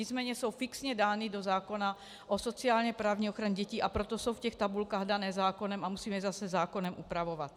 Nicméně jsou fixně dány do zákona o sociálně-právní ochraně dětí, a proto jsou v těch tabulkách dané zákonem a musíme je zase zákonem upravovat.